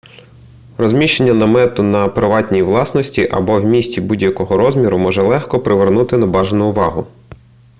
розміщення намету на приватній власності або в місті будь-якого розміру може легко привернути небажану увагу